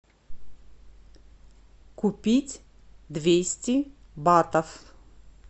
купить двести батов